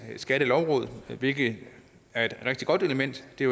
skattelovråd hvilket er et rigtig godt element det